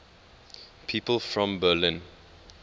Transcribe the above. people from berlin